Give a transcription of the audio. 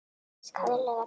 Skaðleg efni.